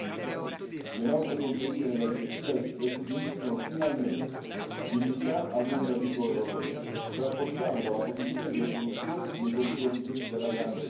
Le norme contenute nella direttiva restituiscono finalmente dignità al mondo agricolo europeo, rafforzando la posizione dei produttori nei confronti della grande distribuzione.